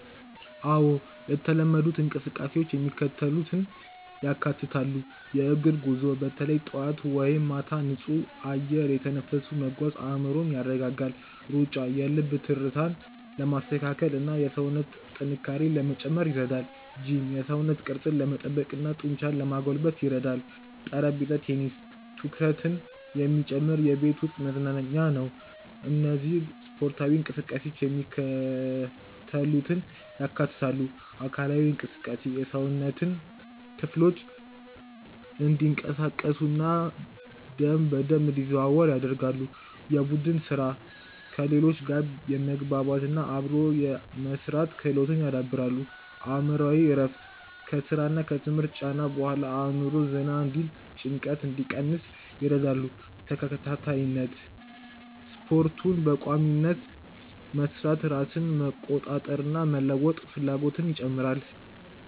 አዎ፣ የተለመዱት እንቅስቃሴዎች የሚከተሉትን ያካትታሉ፦ .የእግር ጉዞ፦ በተለይ ጠዋት ወይም ማታ ንጹህ አየር እየተነፈሱ መጓዝ አእምሮን ያረጋጋል። .ሩጫ፦ የልብ ትርታን ለማስተካከልና የሰውነት ጥንካሬን ለመጨመር ይረዳል። .ጂም፦ የሰውነት ቅርጽን ለመጠበቅና ጡንቻን ለማጎልበት ይረዳኛል። .ጠረጴዛ ቴኒስ፦ ትኩረትን የሚጨምር የቤት ውስጥ መዝናኛ ነው። እነዚህ ስፖርታዊ እንቅስቃሴዎች የሚከተሉትን ያካትታሉ:- .አካላዊ እንቅስቃሴ፦ የሰውነት ክፍሎች እንዲንቀሳቀሱና ደም በደንብ እንዲዘዋወር ያደርጋሉ። .የቡድን ሥራ፦ ከሌሎች ጋር የመግባባትና አብሮ የመሥራት ክህሎትን ያዳብራሉ። .አእምሮአዊ እረፍት፦ ከሥራና ከትምህርት ጫና በኋላ አእምሮ ዘና እንዲልና ጭንቀትን እንዲቀንስ ይረዳሉ። .ተከታታይነት፦ ስፖርቱን በቋሚነት መሥራት ራስን የመቆጣጠርና የመለወጥ ፍላጎትን ይጨምራል።